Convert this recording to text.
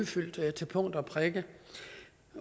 fulgt til punkt og prikke